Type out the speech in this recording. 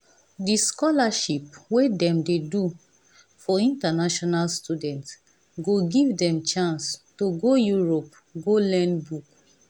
the scholarship wey dem dey do for international students go give dem chance to go europe go learn book.